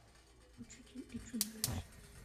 учитель и чудовище